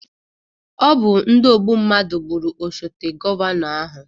Ọ bụ ndị ogbu mmadụ gbụrụ osote gọvanọ ahụ